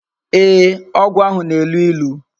Ee, ogwu ahu na-elu ilu